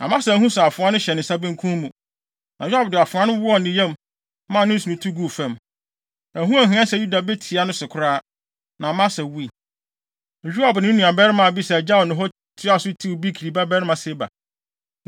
Amasa anhu sɛ afoa no hyɛ ne nsa benkum mu. Na Yoab de afoa no wɔɔ ne yam, maa ne nsono tu guu fam. Ɛho anhia sɛ Yoab betia ne so koraa, na Amasa wui. Yoab ne ne nuabarima Abisai gyaw no hɔ, toaa so tiw Bikri babarima Seba.